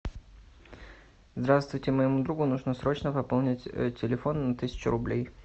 здравствуйте моему другу нужно срочно пополнить телефон на тысячу рублей